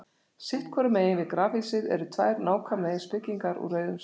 Sitt hvoru megin við grafhýsið eru tvær nákvæmlega eins byggingar úr rauðum sandsteini.